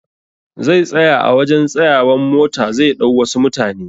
Zai tsaya a wajan tsayawan mota zai ɗau wasu mutane